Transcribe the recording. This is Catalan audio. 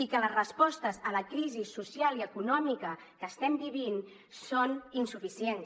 i que les respostes a la crisi social i econòmica que estem vivint són insuficients